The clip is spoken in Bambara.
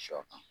Sɔ